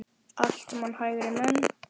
Allt saman hægri menn!